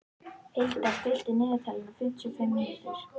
Hildar, stilltu niðurteljara á fimmtíu og fimm mínútur.